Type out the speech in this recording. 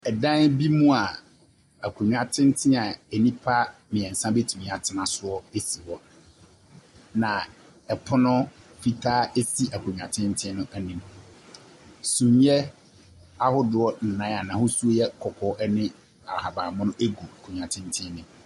Ɛdan bi mu a akonnwa tenten a nnipa mmiɛnsa betumi atena soɔ si hɔ. Na ɛpono fitaa esi akonnwa tenten no anim. Sumiiɛ ahodoɔ nan a n'ahosu yɛ kɔkɔɔ ne ahabanmono gu nkonnwa tenten bi mu.